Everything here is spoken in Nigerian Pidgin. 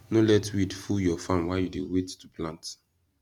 no let weed full your farm while you dey wait to plant